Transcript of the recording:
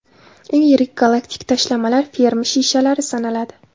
Eng yirik galaktik tashlamalar Fermi shishlari sanaladi.